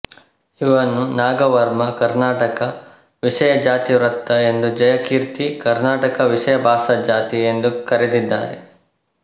ಇವನ್ನು ನಾಗವರ್ಮ ಕರ್ಣಾಟಕ ವಿಷಯಜಾತಿವೃತ್ತ ಎಂದೂ ಜಯಕೀರ್ತಿ ಕರ್ಣಾಟ ವಿಷಯಭಾಷಾಜಾತಿ ಎಂದೂ ಕರೆದಿದ್ದಾರೆ